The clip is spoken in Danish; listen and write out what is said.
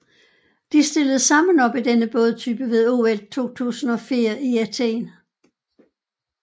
De stillede sammen op i denne bådtype ved OL 2004 i Athen